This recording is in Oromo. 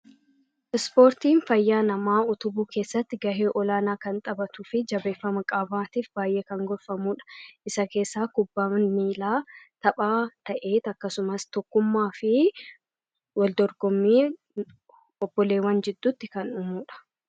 Ispoortiin fayyaa namaa utubuu keessatti gahee olaanaa kan taphatuufi jabeeffama qaamaatiif baayyee kan gorfamudha. Isa keessaa kubbaan miilaa tapha ta'eet akkasumas tokkummaafi wal dorgommii obboleewwan jidduutti kan dhumudha.